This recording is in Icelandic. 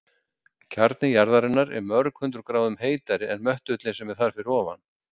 Kjarni jarðarinnar er mörg hundruð gráðum heitari en möttullinn sem er þar fyrir ofan.